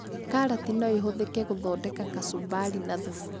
Karati no ĩhũthĩke gũthondeka kacumbari na thubu